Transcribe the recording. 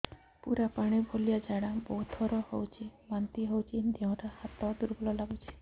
ପୁରା ପାଣି ଭଳିଆ ଝାଡା ବହୁତ ଥର ହଉଛି ବାନ୍ତି ହଉଚି ଦେହ ହାତ ଦୁର୍ବଳ ଲାଗୁଚି